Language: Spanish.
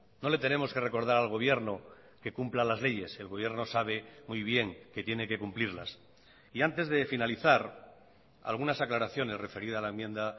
no le tenemos que recordar al gobierno que cumpla las leyes el gobierno sabe muy bien que tiene que cumplirlas y antes de finalizar algunas aclaraciones referida a la enmienda